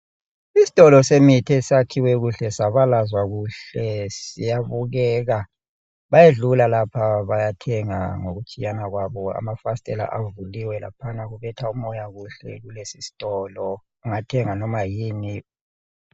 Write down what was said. Isitolo semithi esakhiwe kuhle sabalazwa kuhle siyabukeka. Bayedlula lapha lapha bayathenga ngokutshiyana kwabo. Amafasithela avukiwe kubetha umoya kuhle kulesisitolo. Ungathenga noma yini.